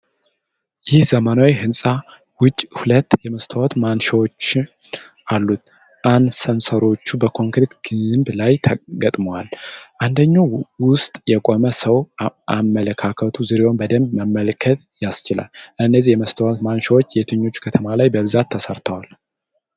ይህ ዘመናዊ ሕንፃ ውጭ ሁለት የመስታወት ማንሻዎችን አሉት። አሳንሰሮቹ በኮንክሪት ግንብ ላይ ተገጥመዋል። አንደኛው ውስጥ የቆመ ሰው አመለካከቱ ዙሪያውን በደንብ መመልከት ያስችላል። እነዚህ የመስታወት ማንሻዎች የትኞቹ ከተሞች ላይ በብዛት ተሠርተዋል?